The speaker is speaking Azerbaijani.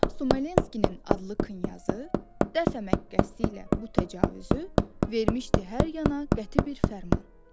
Smolenskinin adlı Knyazı, dəfə məqsədi ilə bu təcavüzü vermişdi hər yana qəti bir fərman.